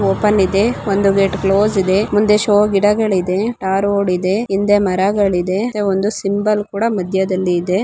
Open ಇದೆ ಒಂದು gate close ಇದೆ ಮುಂದೆ ಶೋ ಗಿಡ ಇದೆ.